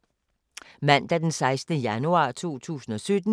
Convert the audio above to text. Mandag d. 16. januar 2017